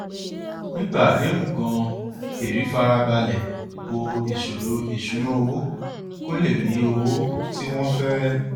nígbà àdéhùn ganan hèrì fara balẹ bo ìṣòro ìṣúnná owó kó lè rí owó tí wọn fẹ